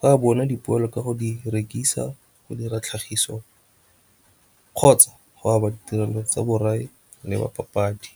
Ba bona dipoelo ka go di rekisa, go dira tlhagiso kgotsa go aba ditirelo tsa borai le ba papadi.